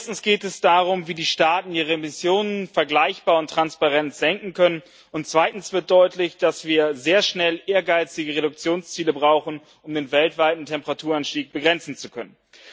Erstens geht es darum, wie die Staaten ihre Emissionen vergleichbar und transparent senken können. Zweitens wird deutlich, dass wir sehr schnell ehrgeizige Reduktionsziele brauchen, um den weltweiten Temperaturanstieg begrenzen zu können.